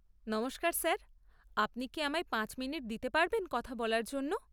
নমস্কার স্যার, আপনি কি আমায় পাঁচ মিনিট দিতে পারবেন কথা বলার জন্য?